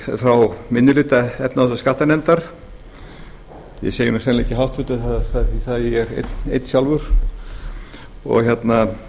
frá minni hluta efnahags og skattanefndar ég segi sennilega ekki háttvirtur þar er ég einn sjálfur það er að